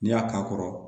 N'i y'a k'a kɔrɔ